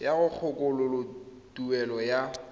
ya go kgakololo tuelo ya